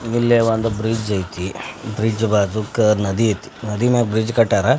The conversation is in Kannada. ಇಲ್ಲೇ ಒಂದ್ ಬ್ರಿಜ್ ಐತಿ ಬ್ರಿಜ್ ಬಾಜೂಕ ನದಿ ಏತಿ ನದಿ ಮ್ಯಾಲ್ ಬ್ರಿಜ್ ಕಟ್ಯಾರ--